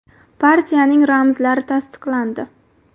Partiyaning ramzlari tasdiqlandi.